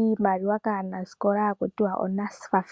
iimaliwa kaanasikola hali ithanwa NSFAF.